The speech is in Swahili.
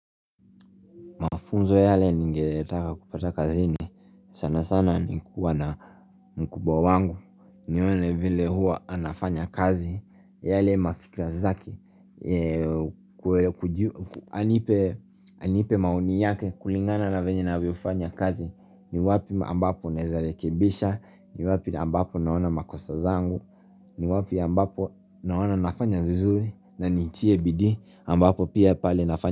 Mafunzo yale ningetaka kupata kazini, sana sana ni kuwa na mkubwa wangu, nione vile huwa anafanya kazi, yale mafikra zake, anipe maoni yake kulingana na venye anavyofanya kazi, ni wapi ambapo naeza rekebisha, ni wapi ambapo naona makosa zangu, ni wapi ambapo naona nafanya vizuri, na nitie bidii ambapo pia pale nafanya.